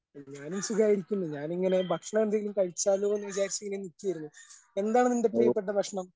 ഞാനും സുഖമായിരിക്കുന്നു. ഞാൻ ഇങ്ങനെ ഭക്ഷണം എന്തെങ്കിലും കഴിച്ചാലോന്ന് വിചാരിച്ച് ഇങ്ങനെ നിൽക്കുമായിരുന്നു. എന്താണ് നിൻ്റെ പ്രിയപ്പെട്ട ഭക്ഷണം?